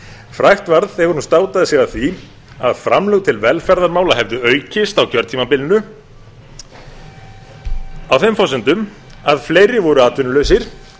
frægt varð þegar hún státaði sig af því að framlög til velferðarmála hefðu aukist á kjörtímabilinu á þeim forsendum að fleiri voru atvinnulausir og því var